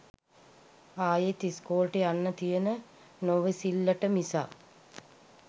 ආයෙත් ඉස්කෝලෙට යන්න තියෙන නොඉවසිල්ලට මිසක්